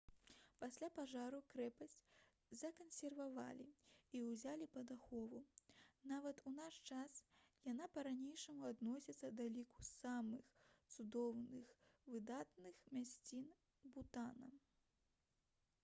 пасля пажару крэпасць закансервавалі і ўзялі пад ахову нават у наш час яна па-ранейшаму адносіцца да ліку самых цудоўных выдатных мясцін бутана